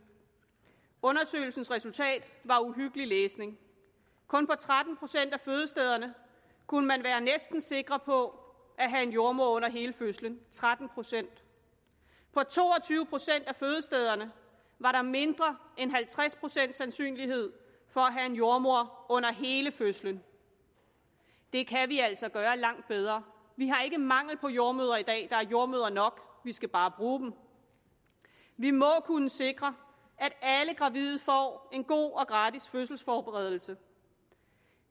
undersøgelsens resultat var uhyggelig læsning kun på tretten procent af fødestederne kunne man være næsten sikker på at have en jordemoder under hele fødslen tretten procent på to og tyve procent af fødestederne var der mindre end halvtreds procent sandsynlighed for at have en jordemoder under hele fødslen det kan vi altså gøre langt bedre vi har ikke mangel på jordemødre i dag der er jordemødre nok vi skal bare bruge dem vi må kunne sikre at alle gravide får en god og gratis fødselsforberedelse